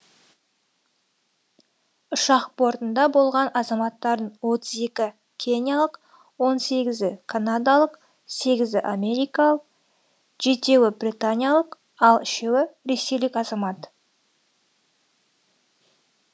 ұшақ бортында болған азаматтардың отыз екі кениялық он сегізі канадалық сегізі америкалық жетісі британиялық ал үшеуі ресейлік азамат